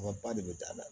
Wa ba de bɛ da a la